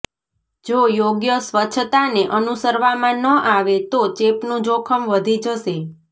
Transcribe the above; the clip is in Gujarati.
જો યોગ્ય સ્વચ્છતાને અનુસરવામાં ન આવે તો ચેપનું જોખમ વધી જશે